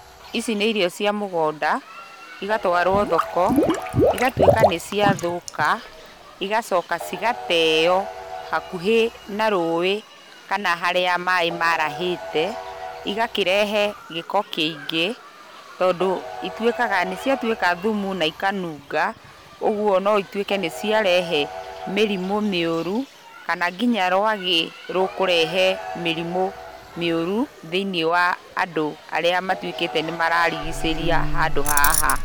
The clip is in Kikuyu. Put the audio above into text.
Ici nĩ irio cia mũgũnda, igatwarwo thoko, igatuĩka nĩ ciathũka, igacoka cigateo hakuhĩ na rũĩ kana harĩa maĩ marahĩte, igakĩrehe gĩko kĩingĩ, tondũ ituĩkaga nĩ ciatuĩka thumu, na ikanunga. Ũguo no ituĩke nĩ ciarehe mĩrimũ mĩũru, kana nginya rwagĩ rũkũrehe mĩrĩmu mĩũru thĩiniĩ wa andũ arĩa matuĩkĩte nĩ mararigicĩria handũ haha.